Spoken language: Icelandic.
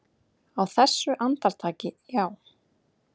Á þessu andartaki, já.